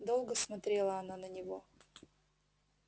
долго смотрела она на него